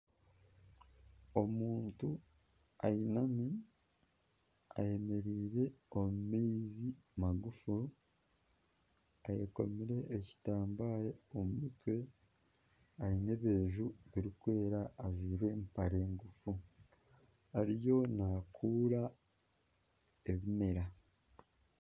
Omuntu ayinami eyemereire omu maizi magufu, eyekomire ekitambare omu mutwe aine ebireju birikwera ajwire empare ngufu ariyo naakura ebimera